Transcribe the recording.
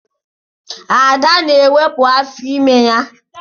Ada na-ewepụ afọ ime ya.